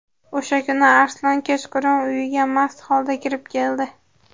O‘sha kuni Arslon kechqurun uyiga mast holda kirib keldi.